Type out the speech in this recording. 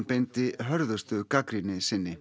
beindi hörðustu gagnrýni sinni